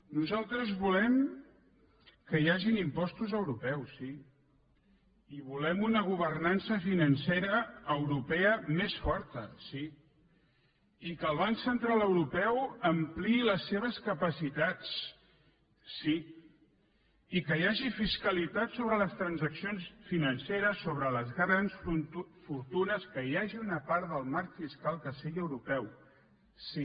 nosaltres volem que hi hagi impostos europeus sí i volem una governança financera europea més forta sí i que el banc central europeu ampliï les seves capacitats sí i que hi hagi fiscalitat sobre les transaccions financeres sobre les grans fortunes que hi hagi una part del marc fiscal que sigui europeu sí